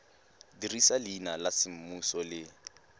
dirisa leina la semmuso le